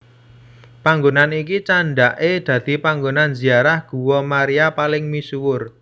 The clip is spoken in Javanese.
Panggonan iki candhake dadi panggonan ziarah guwa Maria paling misuwur